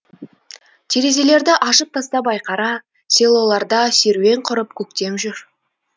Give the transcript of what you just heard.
терезелерді ашып тастап айқара селоларда серуен құрып көктем жүр